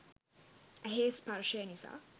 ඇහේ ස්පර්ශය නිසා